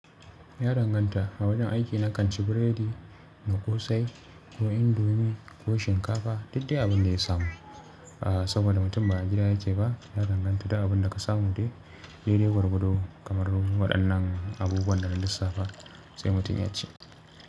Ya danganta. A wajen aiki na kan ci biredi da ƙosai ko indomi ko shinkafa, duk dai abin da ya samu. Aaa saboda mutum ba a gida yike ba, ya danganta da abin da ka samu dai. Daidai gwargwado kamar ruho ɗannan abubuwan da na lissafa sai mutum ya ci.